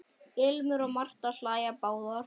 Ilmur og Marta hlæja báðar.